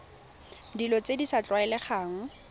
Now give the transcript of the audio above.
dilo tse di sa tlwaelegang